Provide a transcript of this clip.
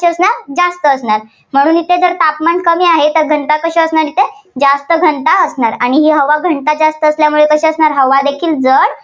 जास्त असणार. म्हणून इथे जर तापमान कमी आहे, तर घनता कशी असणार असते इथे जास्त घनता असणार आणि ही हवा घनता जास्त असल्यामुळे कशी असणार हवादेखील जड